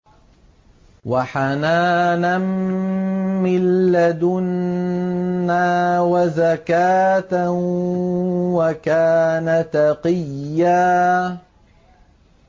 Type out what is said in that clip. وَحَنَانًا مِّن لَّدُنَّا وَزَكَاةً ۖ وَكَانَ تَقِيًّا